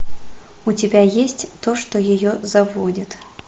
у тебя есть то что ее заводит